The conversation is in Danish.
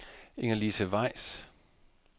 Ingerlise Weiss